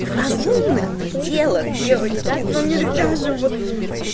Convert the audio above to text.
в разумных пределах девочки но нельзя же вот